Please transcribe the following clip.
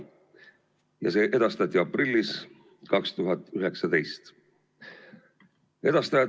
See eelnõu edastati aprillis 2019.